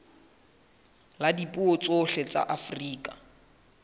la dipuo tsohle tsa afrika